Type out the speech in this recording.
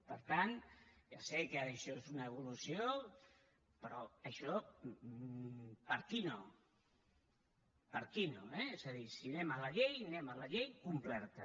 per tant ja sé que ara això és una evolució però això per aquí no per aquí no eh és a dir si anem a la llei anem a la llei completa